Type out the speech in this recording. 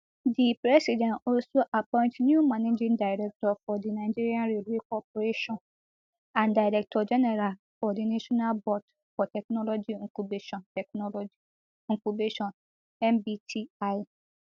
di president also appoint new managing director for di nigerian railway corporation and directorgeneral for di national board for technology incubation technology incubation nbti